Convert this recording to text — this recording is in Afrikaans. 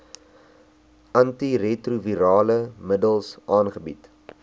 antiretrovirale middels aangebied